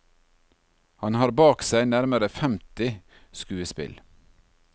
Han har bak seg nærmere femti skuespill.